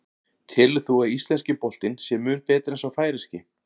Telur þú að íslenski boltinn sé mun betri en sá færeyski?